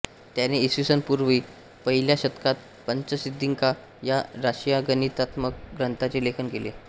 त्याने इ स पूर्व पहिल्या शतकात पंचसिद्धिका या राशिगणितात्मक ग्रंथाचे लेखन केले